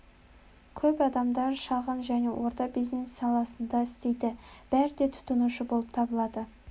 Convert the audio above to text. көп адамдар шағын және орта бизнес саласында істейді бәрі де тұтынушы болып табылады